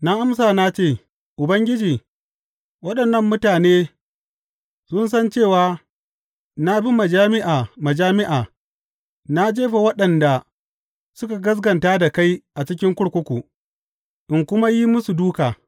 Na amsa na ce, Ubangiji, waɗannan mutane sun san cewa na bi majami’a majami’a na jefa waɗanda suka gaskata da kai a cikin kurkuku, in kuma yin musu dūka.